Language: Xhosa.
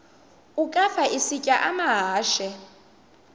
ukafa isitya amahashe